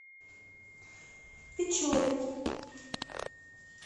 печоре